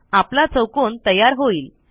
आपला चौकोन तयार होईल